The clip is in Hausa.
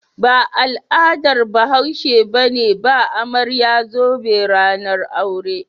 Ba al'adar Bahashe ba ce ba amarya zobe ranar aure.